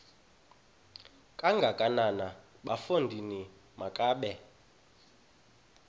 kangakanana bafondini makabe